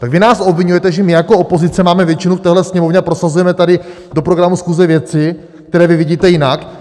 Tak vy nás obviňujete, že my jako opozice máme většinu v téhle Sněmovně a prosazujeme tady do programu schůze věci, které vy vidíte jinak?